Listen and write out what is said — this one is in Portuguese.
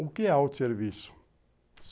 O que é autosserviço?